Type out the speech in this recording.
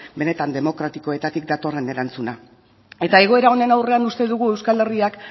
benetan demokratikoetatik datorren erantzuna eta egoera honen aurrean uste dugu euskal herriak